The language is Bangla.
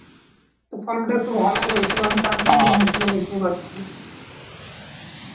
তো ফলনটা একটু ভালই হয়েছিল কারণ টান টান জমি ছিল বুঝতেই পারছিস